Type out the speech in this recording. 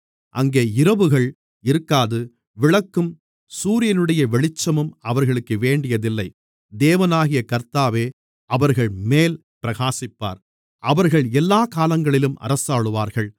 அங்கே இரவுகள் இருக்காது விளக்கும் சூரியனுடைய வெளிச்சமும் அவர்களுக்கு வேண்டியதில்லை தேவனாகிய கர்த்தாவே அவர்கள்மேல் பிரகாசிப்பார் அவர்கள் எல்லாக் காலங்களிலும் அரசாளுவார்கள்